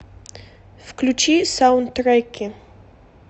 включи саундтреки